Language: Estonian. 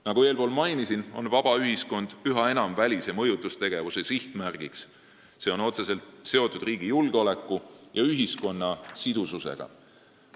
Nagu eespool mainisin, on vaba ühiskond üha enam välise mõjutustegevuse sihtmärk, mis on otseselt seotud riigi julgeoleku ja ühiskonna sidususega.